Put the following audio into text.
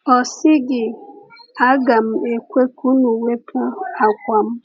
Ọ sịghị, ‘Aga m ekwe ka unu wepụ àkwà m!’